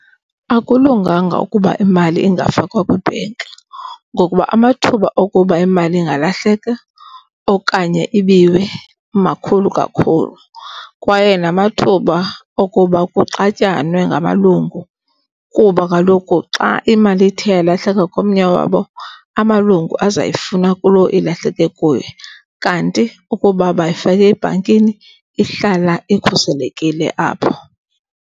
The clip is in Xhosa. Akulunganga ukuba imali ingafakwa kwi-bank ngokuba amathuba okuba imali ingalahleka okanye ibiwe makhulu kakhulu. Kwaye namathuba okuba kuxatyanwe ngamalungu kuba kaloku xa imali ithe yalahleka komnye wabo, amalungu azoyifuna kuloo ilahleke kuye. Kanti ukuba bayifake ebhankini ihlala ikhuselekile apho.